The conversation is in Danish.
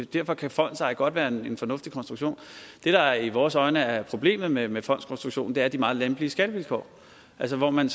derfor kan fondseje godt være en fornuftig konstruktion det der i vores øjne er problemet med med fondskonstruktionen er de meget lempelige skattevilkår altså hvor man